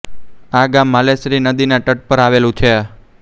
આ ગામ માલેશ્રી નદીના તટ પર આવેલું છે